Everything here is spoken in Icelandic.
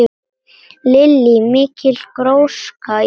Lillý: Mikil gróska í rappinu?